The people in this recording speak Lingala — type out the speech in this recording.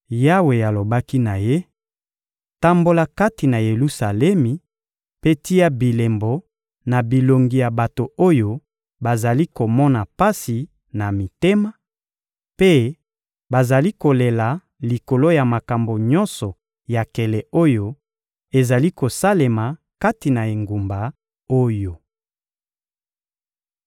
Yawe alobaki na ye: «Tambola kati na Yelusalemi mpe tia bilembo na bilongi ya bato oyo bazali komona pasi na mitema mpe bazali kolela likolo ya makambo nyonso ya nkele oyo ezali kosalema kati na engumba oyo.»